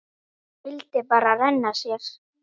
Vildi bara renna sér.